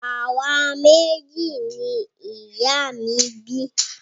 Àwa méjì ni ìyá mi bí